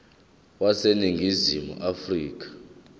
wase ningizimu afrika